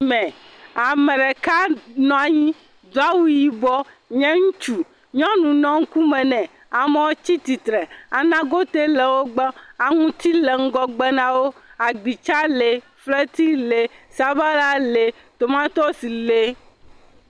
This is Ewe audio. Me, Ame ɖeka nɔ anyi do awu yibɔ nye ŋutsu nyɔnu nɔ ŋkume nɛ, ame tsi tsitre anagotewo le wo gbɔ, aŋuti le ŋgɔ gbe na wo, agbitsa le, fetri le, sabala, le, tomatosi le.